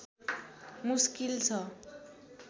मुस्किल छ